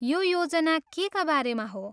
यो योजना केका बारेमा हो?